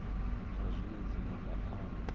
na zwine dzina la amba